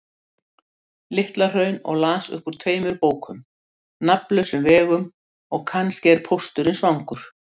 Litla-Hraun og las upp úr tveimur bókum: Nafnlausum vegum og Kannski er pósturinn svangur.